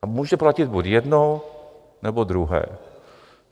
A může platit buď jedno, nebo druhé.